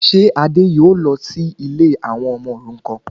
Ṣé Adé yóò lọ sí ilé àwọn ọmọ òrukan